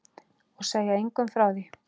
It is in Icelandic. Og segja engum frá því.